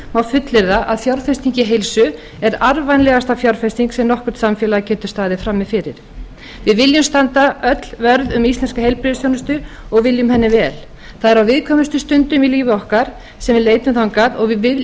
má fullyrða að fjárfesting í heilsu er arðvænlegasta fjárfesting sem nokkurt samfélag getur staðið frammi fyrir við viljum öll standa vörð um íslenska heilbrigðisþjónustu og viljum henni vel það er á viðkvæmustu stundum í lífi okkar sem við leitum þangað og við